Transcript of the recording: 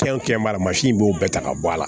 Fɛnw kɛ b'a la i b'o bɛɛ ta ka bɔ a la